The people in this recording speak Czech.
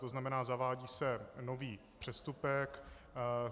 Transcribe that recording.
To znamená, zavádí se nový přestupek.